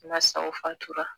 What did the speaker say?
Na o fatura